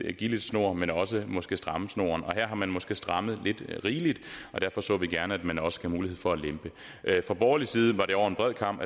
at give lidt snor men også måske at stramme snoren her har man måske strammet lidt rigeligt og derfor så vi gerne at man også gav mulighed for at lempe fra borgerlig side var det over en bred kam